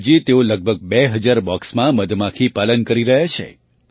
આજે તેઓ લગભગ બે હજાર બૉક્સમાં મધમાખીપાલન કરી રહ્યા છે